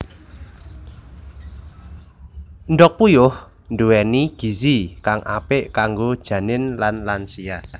Endhog puyuh nduwéni gizi kang apik kanggo janin lan lansia